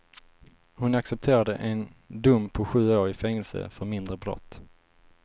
Hon accepterade en dom på sju år i fängelse för mindre brott.